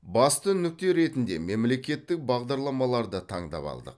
басты нүкте ретінде мемлекеттік бағдарламаларды таңдап алдық